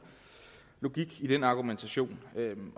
logik i den argumentation